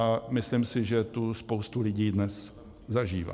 A myslím si, že tu spousta lidí dnes zažívá.